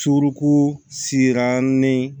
Suruku siran ni